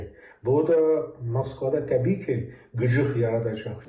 Bu da Moskvada təbii ki, güclük yaradacaq.